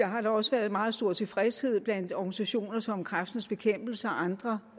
har da også været meget stor tilfredshed blandt organisationer som kræftens bekæmpelse og andre